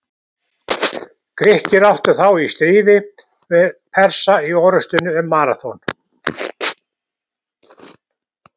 Grikkir áttu þá í stríði við Persa í orrustunni um Maraþon.